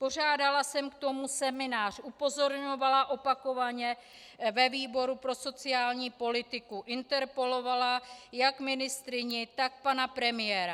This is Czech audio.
Pořádala jsem k tomu seminář, upozorňovala opakovaně ve výboru pro sociální politiku, interpelovala jak ministryni, tak pana premiéra.